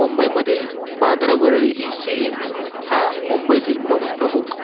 मुंबईमधील Bandra Worli sea link हा मुंबईतील प्रमुख